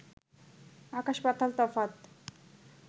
আকাশ-পাতাল তফাত